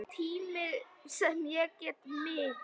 Tími sem ég met mikils.